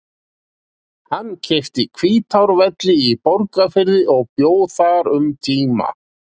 Hann keypti Hvítárvelli í Borgarfirði og bjó þar um tíma.